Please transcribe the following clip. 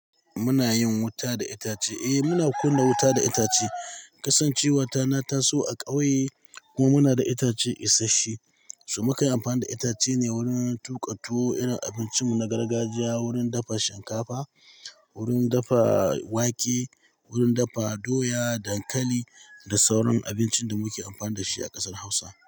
Muna yin wuta da itace. Eh muna kunna wuta da itace. Kasan cewa tana taso a ƙauye kuma muna da itacen isasshe. Su makai amfanin itace ne wurin tuƙa tuwo, irin abincinmu na gargajiya, wurin dafa shinkafa, wurin dafa wake, wurin dafa doya, dankali da sauran abincin da muke amfani da shi a ƙasar Hausa.